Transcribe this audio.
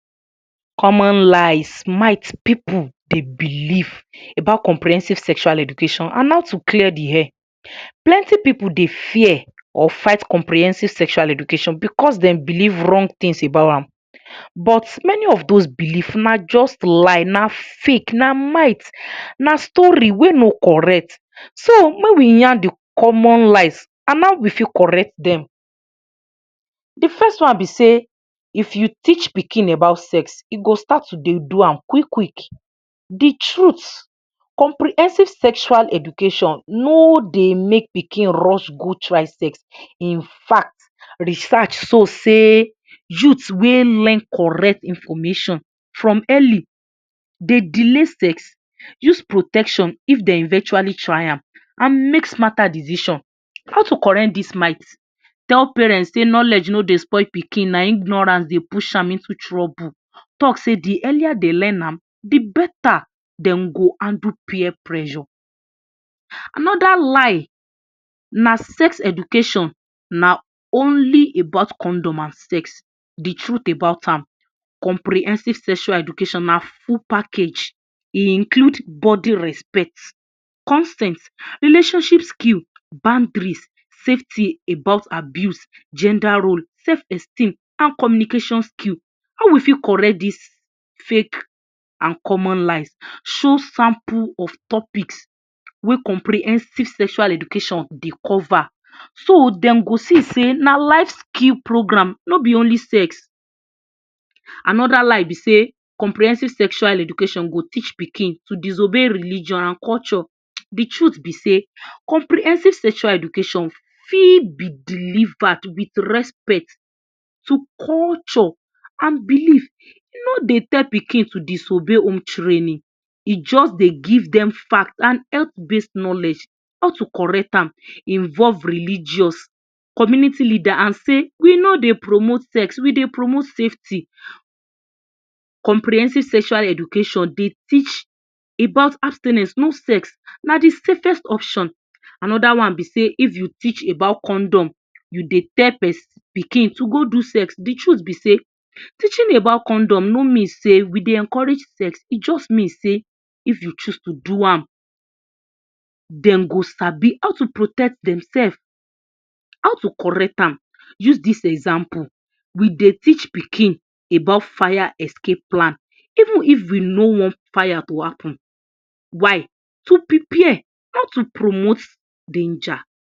Common lies might pipu dey believe about comprehensive sexual education an how to clear di air. Plenti pipu dey fear or fight comprehensive sexual education becos dem believe wrong tins about am. But many of dos belief na juz lie, na fake, na might, na story wey no correct. So, make we yarn di common lies an how we fit correct dem. Di first one be sey if you teach pikin about sex, e go start to dey do am quick-quick. Di truth: Comprehensive sexual education no dey make pikin rush go try sex. In fact, research show sey youth wey learn correct information from early dey delay sex, use protection if de eventually try am, an make smarter decision. How to correct dis might: Tell parents sey knowledge no dey spoil pikin, na ignorance dey push am into trouble. Talk sey di earlier de learn am, di beta dem go handle peer pressure. Another lie na sex education na only about condom an sex. Di truth about am: Comprehensive sexual education na full package. E include bodi respect, consent, relationship skill, boundaries, safety about abuse, gender role, sef esteem, an communication skill. How we fit correct dis fake an common lie? Show sample of topics wey comprehensive sexual education dey cover so dem go see sey na life skill program, no be only sex. Another lie be sey comprehensive sexual education go teach pikin to disobey religion an culture. Di truth be sey comprehensive sexual education fit be delivered with respect to culture an belief. No dey tell pikin to disobey home training, e juz dey give dem fact an health base knowledge. How to correct am: Involve religious community leader, an say “We no dey promote sex, we dey promote safety.” Comprehensive sexual education dey teach about abstinence—no sex na di safest option. Another one be sey if you teach about condom, you dey tell pikin to go do sex. Di truth be sey teaching about condom no mean sey we dey encourage sex, e juz mean sey if you choose to do am, dem go sabi how to protect demsef. How to correct am: Use dis example: We dey teach pikin about fire escape plan even if we no wan fire to happen. Why? To prepare, not to promote danger.